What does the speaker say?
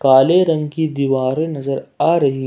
काले रंग की दीवारें नजर आ रही--